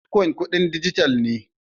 Bitcoin kudin dijital ne.